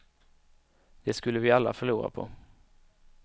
Det skulle vi alla förlora på.